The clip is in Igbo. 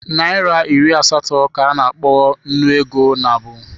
Naịra iri asatọ ka a na-akpọ Nnu ego nabụ.